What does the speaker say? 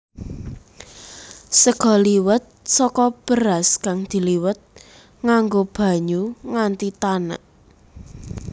Sega liwet saka beras kang diliwet nganggo banyu nganti tanek